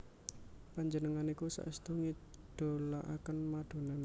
Panjenengan niki saestu ngidolaaken Madonna